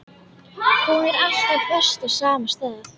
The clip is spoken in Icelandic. Hún er alltaf föst á sama stað.